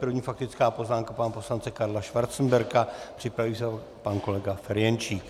První - faktická poznámka pana poslance Karla Schwarzenberga, připraví se pan kolega Ferjenčík.